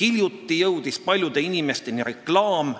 Hiljuti said paljud inimesed reklaami,